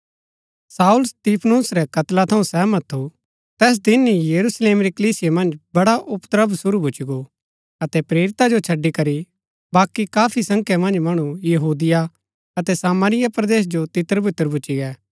शाऊल स्तिफनुस रै कत्ला थऊँ सहमत थू तैस दिन ही यरूशलेम री कलीसिया मन्ज बड़ा उपद्रव शुरू भूच्ची गो अतै प्रेरिता जो छड़ी करि बाकी काफी संख्या मन्ज मणु यहूदिया अतै सामरिया परदेस जो तितरबितर भूच्ची गै